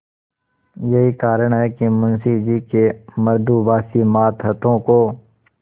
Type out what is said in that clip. यही कारण है कि मुंशी जी के मृदुभाषी मातहतों को